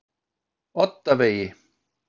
Oddavegi